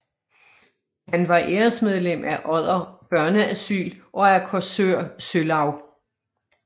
Han var æresmedlem af Odder Børneasyl og af Korsør Sølaug